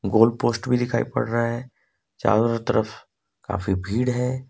गोल post भी दिखाई पड़ रहा है चारों तरफ काफी भीड़ है।